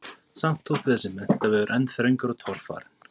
Samt þótti þessi menntavegur enn þröngur og torfarinn.